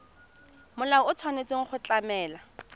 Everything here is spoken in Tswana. molao o tshwanetse go tlamela